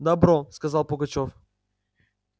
добро сказал пугачёв